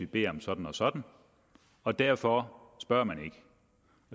beder om sådan og sådan og derfor spørger man ikke